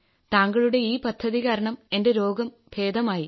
താങ്കളുടെ ഈ പദ്ധതി കാരണം എന്റെ രോഗം ഭേദമായി